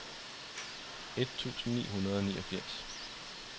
et tusind ni hundrede og niogfirs